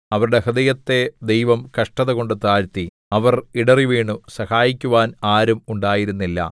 അവരുടെ ഹൃദയത്തെ ദൈവം കഷ്ടതകൊണ്ട് താഴ്ത്തി അവർ ഇടറിവീണു സഹായിക്കുവാൻ ആരും ഉണ്ടായിരുന്നില്ല